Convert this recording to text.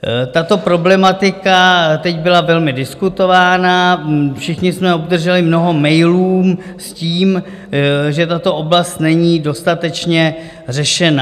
Tato problematika teď byla velmi diskutována, všichni jsme obdrželi mnoho mailů s tím, že tato oblast není dostatečně řešena.